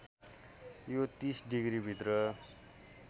यो ३० डिग्रीभित्र